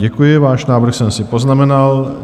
Děkuji, váš návrh jsem si poznamenal.